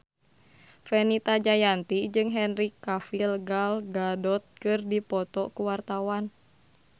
Fenita Jayanti jeung Henry Cavill Gal Gadot keur dipoto ku wartawan